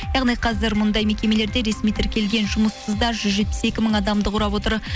яғни қазір мұндай мекемелерде ресми тіркелген жұмыссыздар жүз жетпіс екі мың адамды құрап отыр